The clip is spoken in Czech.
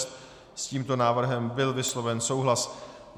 S tímto návrhem byl vysloven souhlas.